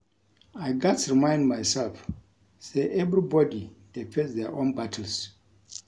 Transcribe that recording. I gats remind myself say everybody dey face their own battles.